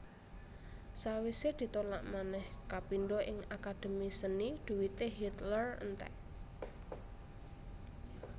Sawisé ditolak manèh kapindho ing Akademi Seni dhuwité Hitler entèk